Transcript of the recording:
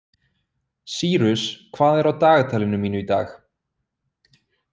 Sýrus, hvað er á dagatalinu mínu í dag?